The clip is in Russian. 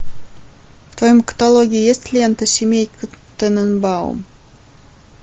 в твоем каталоге есть лента семейка тененбаум